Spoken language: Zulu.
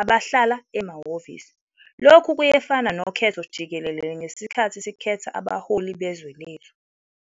abahlale emahhovisi, - lokhu kuyefana nokhetho jikelele ngesikhathi sikhetha abaholi bezwe lethu.